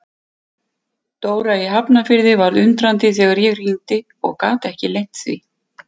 Dóra í Hafnarfirði var undrandi þegar ég hringdi og gat ekki leynt því.